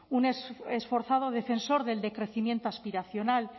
un esforzado defensor del decrecimiento aspiracional